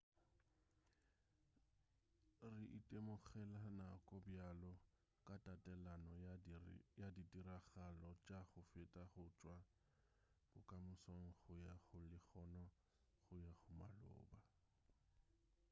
re itemogela nako bjalo ka tatelano ya ditiragalo tša go feta go tšwa bokamosong go ya go lehono go ya go maloba